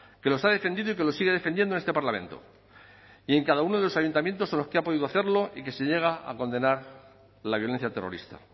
que los ha defendido y que los sigue defendiendo en este parlamento y en cada uno de los ayuntamientos en los que ha podido hacerlo y que se niega a condenar la violencia terrorista